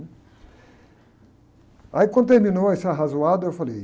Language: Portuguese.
Aí, quando terminou esse arrasoado, eu falei...